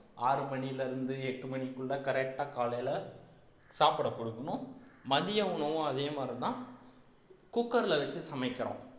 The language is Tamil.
ஆறு மணியில இருந்து எட்டு மணிக்குள்ள correct ஆ காலையில சாப்பிட குடுக்கணும் மதிய உணவும் அதே மாதிரிதான் cooker ல வச்சு சமைக்கிறோம்